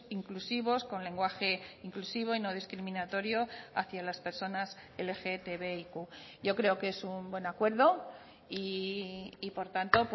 inclusivos con lenguaje inclusivo y no discriminatorio hacia las personas lgtbiq yo creo que es un buen acuerdo y por tanto